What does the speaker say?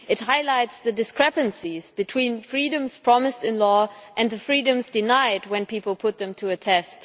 It highlights the discrepancies between freedoms promised in law and the freedoms denied when people put them to the test.